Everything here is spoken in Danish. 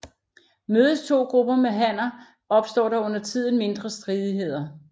Mødes to grupper med hanner opstår der undertiden mindre stridigheder